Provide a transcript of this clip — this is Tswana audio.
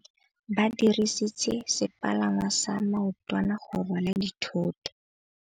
Ba dirisitse sepalangwasa maotwana go rwala dithôtô.